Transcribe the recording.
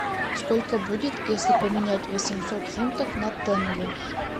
сколько будет если поменять восемьсот фунтов на тенге